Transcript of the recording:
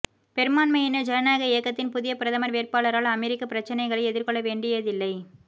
பெரும்பான்மையினர் ஜனநாயக இயக்கத்தின் புதிய பிரதமர் வேட்பாளரால் அமெரிக்க பிரச்சினைகளை எதிர்கொள்ளவேண்டியதில்லை